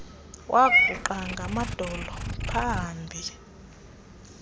waguqa ngamadolo pahambi